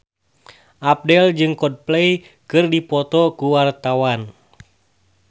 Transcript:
Abdel jeung Coldplay keur dipoto ku wartawan